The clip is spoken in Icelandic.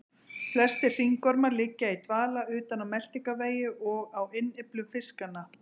Flestir hringormar liggja í dvala utan á meltingarvegi og á innyflum fiskanna.